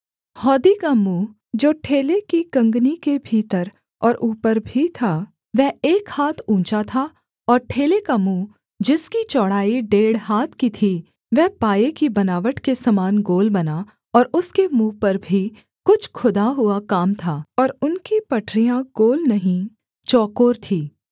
हौदी का मुँह जो ठेले की कँगनी के भीतर और ऊपर भी था वह एक हाथ ऊँचा था और ठेले का मुँह जिसकी चौड़ाई डेढ़ हाथ की थी वह पाये की बनावट के समान गोल बना और उसके मुँह पर भी कुछ खुदा हुआ काम था और उनकी पटरियाँ गोल नहीं चौकोर थीं